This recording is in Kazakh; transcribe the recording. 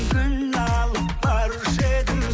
гүл алып барушы едім